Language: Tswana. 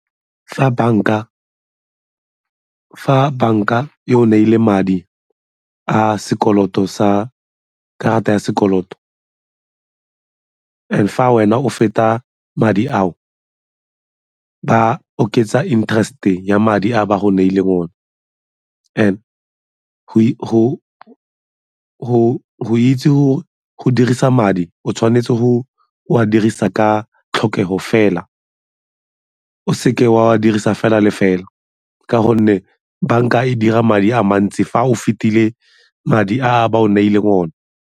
Fa banka e ho neile madi a sekoloto sa karata ya sekoloto, and fa wena o feta madi ao ba oketsa interest-e ya madi a ba go neileng one. And go itse go dirisa madi o tshwanetse go a dirisa ka tlhokego fela, o seke wa a dirisa fela le fela ka gonne banka e dira madi a mantsi fa o fetile madi a ba o neileng one.